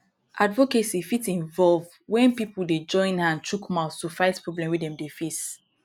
advocacy fit involve when pipo dey join hang chook mouth to fight problem wey dem dey face